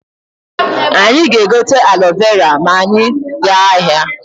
Anyị ga-egote alo vera ma anyị gaa ahịa.